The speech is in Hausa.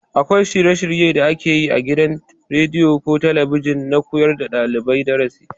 Akwai shirye- shirye da ake yi a gidajen rediyo ko talabijin na koyar da ɗalibai darasi.